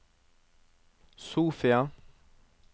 Sofia